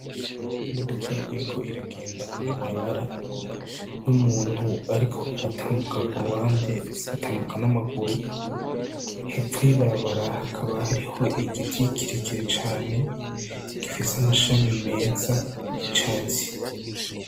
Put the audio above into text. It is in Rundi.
Imodoka iriko iragenda mw'ibarabara n'umuntu ariko aratambuka ku ruhande, ariko atambuka n'amaguru. Hepfo y'ibarabara hakaba hariho igiti kirekire cane gifise amashami meza y'icatsi.